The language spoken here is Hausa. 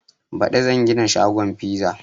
Baɗi zan gina shagon fiza